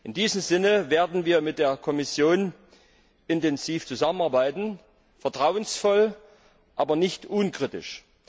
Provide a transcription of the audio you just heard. In diesem Sinne werden wir mit der Kommission intensiv zusammenarbeiten vertrauensvoll, aber nicht unkritisch.